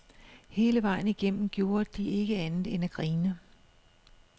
Hele vejen igennem gjorde de ikke andet end at grine.